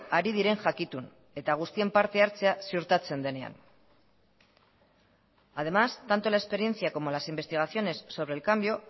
ari diren jakitun eta guztien parte hartzea ziurtatzen denean además tanto la experiencia como las investigaciones sobre el cambio